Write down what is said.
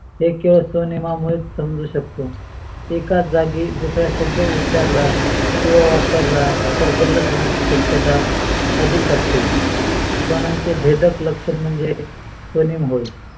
हे केवळ स्वनिमामुळे समजू शकतो. एकाच जागी दुसरा शब्द उचारला किवा वापरला तर होण्यची शक्यता अधिक असते. स्वनियमा चे भेदक लक्षण म्हणजे स्वनियाम होय